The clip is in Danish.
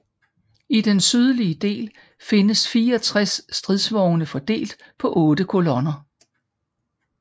I den sydlige del findes 64 stridsvogne fordelt på otte kolonner